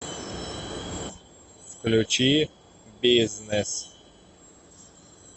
включи бизнес